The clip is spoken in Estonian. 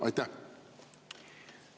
Aitäh!